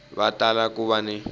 va tala ku va ni